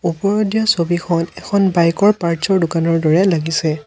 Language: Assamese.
ওপৰত দিয়া ছবিখন এখন বাইক ৰ পাৰ্টছ ৰ দোকানৰ দৰে লাগিছে।